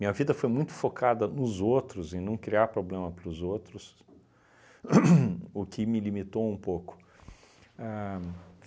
Minha vida foi muito focada nos outros e não criar problema para os outros hum, o que me limitou um pouco. Ahn